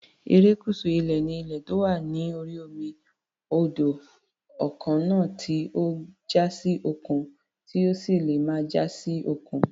Erékùṣù ilẹ̀ ni ilẹ̀ tó wà lórí omi, odò, kànáà tí ó já sí òkun, tó sì lè má já sí òkun.